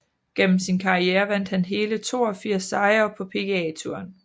Gennem sin karriere vandt han hele 82 sejre på PGA Touren